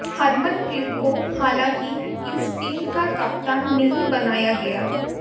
हरमनप्रीत को हालांकि इस टीम का कप्तान नहीं बनाया गया